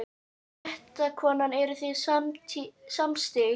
Fréttakona: Eruð þið samstíga?